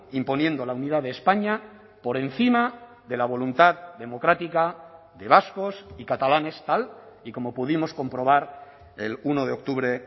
imponiendo la unidad de españa por encima de la voluntad democrática de vascos y catalanes tal y como pudimos comprobar el uno de octubre